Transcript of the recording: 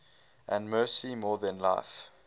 and mercy more than life